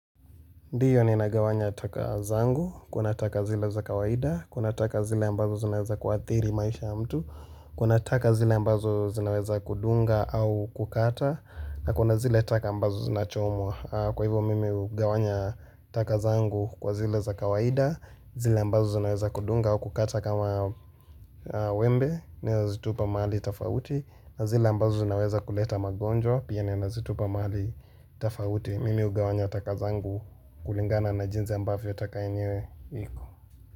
Ndiyo ninagawanya taka zangu, kuna taka zile za kawaida, kuna taka zile ambazo zinaweza kuadhiri maisha ya mtu, kuna taka zile ambazo zinaweza kudunga au kukata, na kuna zile taka ambazo zinachomwa. Kwa hivyo mimi ugawanya taka zangu kwa zile za kawaida, zile ambazo zinaweza kudunga au kukata kama wembe, ninazitupa mahali tafauti, na zile ambazo zinaweza kuleta magonjwa, pia ninazitupa mahali tafauti. Mimi ugawanya taka zangu kulingana na jinsi ambavyo taka yenyewe iko.